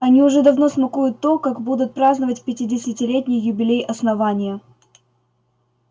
они уже давно смакуют то как будут праздновать пятидесятилетний юбилей основания